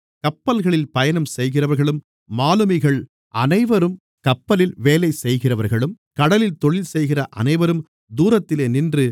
கப்பல்களில் பயணம்செய்கிறவர்களும் மாலுமிகள் அனைவரும் கப்பலில் வேலை செய்கிறவர்களும் கடலில் தொழில்செய்கிற அனைவரும் தூரத்திலே நின்று